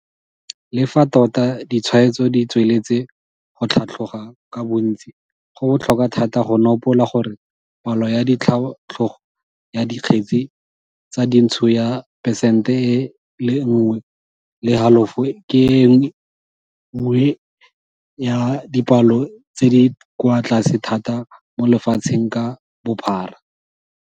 Le fa tota ditshwaetso ditsweletse go tlhatloga ka bontsi, go botlhokwa thata go nopola gore palo ya tlhatlogo ya dikgetse tsa dintsho ya phesente e le nngwe le halofo ke e nngwe ya dipalo tse di kwa tlase thata mo lefatsheng ka bophara.